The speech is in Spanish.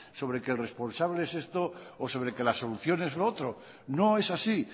sobre que el responsable es esto o sobre que la solución es lo otro no es así